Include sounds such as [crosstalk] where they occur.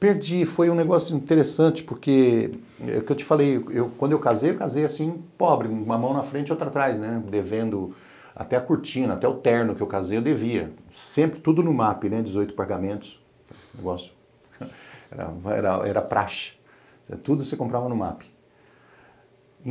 Perdi, foi um negócio interessante, porque é o que eu te falei, quando eu casei, eu casei assim pobre, uma mão na frente e outra atrás, né, devendo até a cortina, até o terno que eu casei eu devia, sempre tudo no ma pe, dezoito pagamentos, [laughs] era era praxe, tudo você comprava no ma pe.